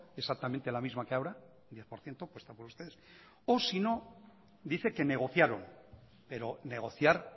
exactamente la misma que ahora diez por ciento puesta por ustedes o sino dice que negociaron pero negociar